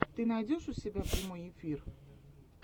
ты найдешь у себя прямой эфир